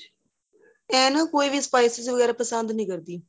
ਏਹ ਨਾ ਕੋਈ ਵੀ specify ਵਗੇਰਾ ਪਸੰਦ ਨਹੀਂ ਕਰਦੀ